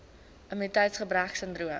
immuniteits gebrek sindroom